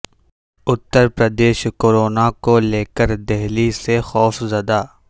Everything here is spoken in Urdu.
اتر پردیش کورونا کو لے کر دہلی سے خوفزدہ